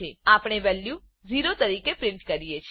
આપણે વેલ્યુ 0 તરીકે પ્રિન્ટ કરીએ છે